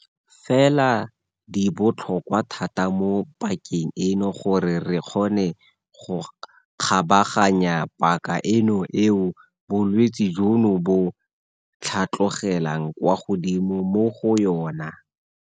Fela di botlhokwa thata mo pakeng eno gore re kgone go kgabaganya paka eno eo bolwetse jono bo tlhatlogelang kwa godimo mo go yona.